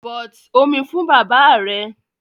But omi fún bàbáà rẹ!